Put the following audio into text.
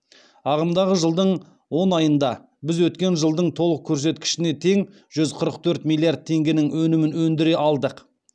ағымдағы жылдың он айында біз өткен жылдың толық көрсеткішіне тең жүз қырық төрт миллиард теңгенің өнімін өндіре алдық